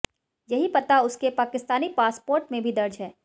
यही पता उसके पाकिस्तानी पासपोर्ट में भी दर्ज है